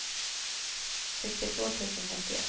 sextiotvå tusen femtioett